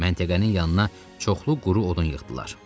Məntəqənin yanına çoxlu quru odun yığdılar.